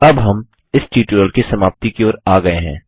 अब हम इस ट्यूटोरियल की समाप्ति की ओर आ गये हैं